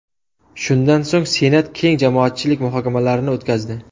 Shundan so‘ng Senat keng jamoatchilik muhokamalarini o‘tkazdi.